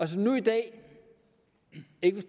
som nu i dag ikke